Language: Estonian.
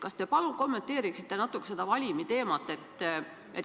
Kas te palun kommenteeriksite natukene seda valimi teemat?